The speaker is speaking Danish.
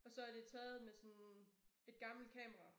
Og så er det taget med sådan et gammelt kamera